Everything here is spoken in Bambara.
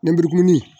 Nɛburu